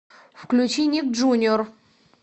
включи ник джуниор